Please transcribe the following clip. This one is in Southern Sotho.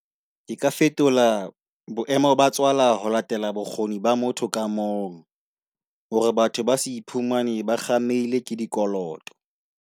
Ke ka fetola boemo ba tswala ho latela bokgoni ba motho ka mong. Hore batho ba se iphumane ba kgameile ke dikoloto.